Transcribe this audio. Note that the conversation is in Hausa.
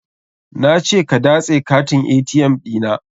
Na ce ka datse katin ATM ɗi na.